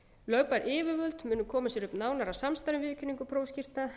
lögbær yfirvöld munu koma sér upp nánara samstarfi um viðurkenningu prófskírteina